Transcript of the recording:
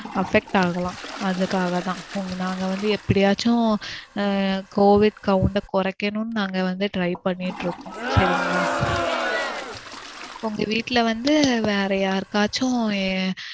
affect ஆகலாம். அதுக்காக தான். உங்க நாங்க வந்து எப்படியாச்ச covid count ட குறைக்கணும்னு நாங்க வந்து try பண்ணி ட்டு இருக்கோம் சரிங்களா. உங்க வீட்ல வந்து வேற யாருக்காச்சும்